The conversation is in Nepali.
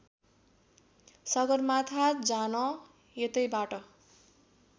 सगरमाथा जान यतैबाट